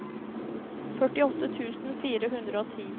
førtiåtte tusen fire hundre og ti